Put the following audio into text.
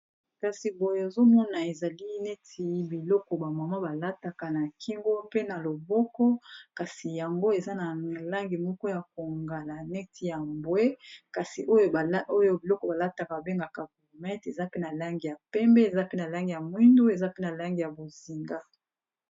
Kasi boye ozomona ezali neti biloko ba mama balataka na kingo mpe na loboko kasi yango eza na langi moko ya kongala neti ya mbwe kasi oyo biloko balataka babengaka gourmette eza pe na langi ya pembe, eza pe na langi ya mwindu, eza pe na langi ya bozinga.